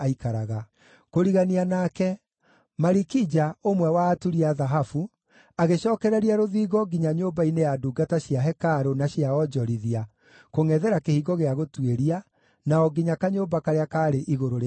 Kũrigania nake, Malikija, ũmwe wa aturi a thahabu, agĩcookereria rũthingo nginya nyũmba-inĩ ya ndungata cia hekarũ na cia onjorithia, kũngʼethera Kĩhingo gĩa Gũtuĩria, na o nginya kanyũmba karĩa kaarĩ igũrũ rĩa koine;